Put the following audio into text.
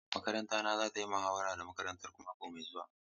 Makaranta na za ta yi muhawara da makarantarku mako mai zuwa.